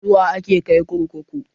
Suwa ake kai kurkuku?